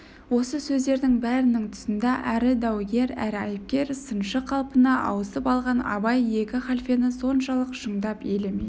осы сөздердің бәрінің тұсында әрі даугер әрі айыпкер сыншы қалпына ауысып алған абай екі халфені соншалық шындап елемей